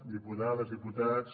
diputades diputats